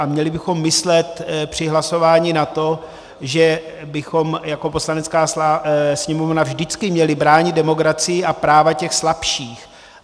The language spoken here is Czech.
A měli bychom myslet při hlasování na to, že bychom jako Poslanecká sněmovna vždycky měli bránit demokracii a práva těch slabších.